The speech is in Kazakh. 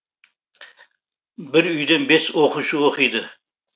бір үйден бес оқушы оқиды